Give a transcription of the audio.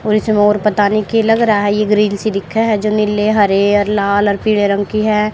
और इस मोर पता नही की लग रहा है ये ग्रीन सी दिखे है जो नीले हरे और लाल और पीले रंग की है।